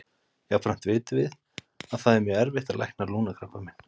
Jafnframt vitum við að það er mjög erfitt að lækna lungnakrabbamein.